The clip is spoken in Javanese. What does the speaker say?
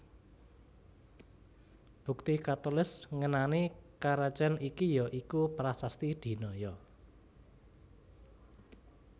Bukti katulis ngenani karajan iki ya iku Prasasti Dinoyo